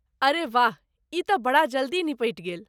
अरे, वाह, ई तँ बड़ा जल्दी निबटि गेल।